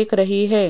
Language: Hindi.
दिख रही है।